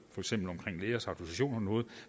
lægers autorisation